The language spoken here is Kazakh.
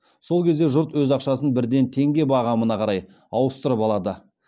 сол кезде жұрт өз ақшасын бірден теңге бағамына қарай ауыстырып алады